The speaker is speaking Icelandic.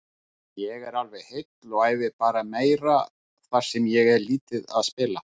Ég er alveg heill og æfi bara meira þar sem ég er lítið að spila.